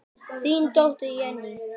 Þín dóttir, Jenný.